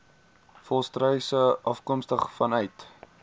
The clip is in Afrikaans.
volstruise afkomstig vanuit